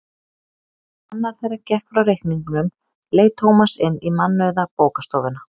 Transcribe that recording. Meðan annar þeirra gekk frá reikningnum leit Tómas inn í mannauða bókastofuna.